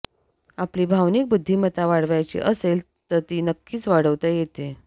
आपली भावनिक बुद्धिमत्ता वाढवायची असेल तर ती नक्कीच वाढवता येते